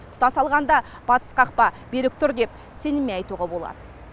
тұтас алғанда батыс қақпа берік тұр деп сеніммен айтуға болады